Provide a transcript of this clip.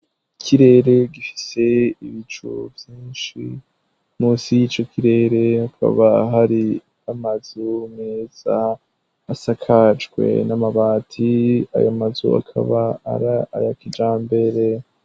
Ikirere gifise ibicu vyinshi munsi y'icokirere hakaba har'amazu meza asakajwe n'amabati ayomazu akaba ari aya kijambere.